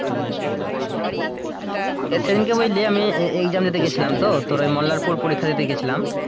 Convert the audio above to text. আহ সেদিনকে বুঝলি আমি exam দিতে গিয়েছিলাম তো তোর ওই মোল্লারপুর পরীক্ষা দিতে গিয়েছিলাম,